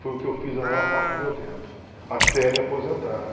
Foi o que eu fiz a maior parte do meu tempo, até me aposentar.